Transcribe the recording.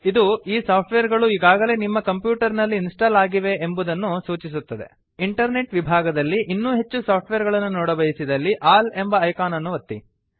ಇದು ಈ ಸಾಫ್ಟ್ವೇರ್ ಗಳು ಈಗಾಗಲೇ ನಿಮ್ಮ ಕಂಪ್ಯೂಟರ್ ನಲ್ಲಿ ಇನ್ಸ್ಟಾಲ್ ಆಗಿವೆ ಎಂಬುದನ್ನು ಸೂಚಿಸುತ್ತದೆ ಇಂಟರ್ನೆಟ್ ವಿಭಾಗದಲ್ಲಿ ಇನ್ನೂ ಹೆಚ್ಚು ಸಾಫ್ಟ್ವೇರ್ ಗಳನ್ನು ನೋಡಬಯಸಿದಲ್ಲಿ ಆಲ್ ಎಂಬ ಐಕಾನ್ ಅನ್ನು ಒತ್ತಿ